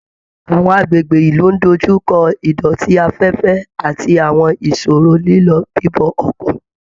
Àwọn agbègbè ìlú ń dójú kọ ìdọ̀tí afẹ́fẹ́ àti àwọn ìṣòro lílọ bíbọ̀ ọkọ̀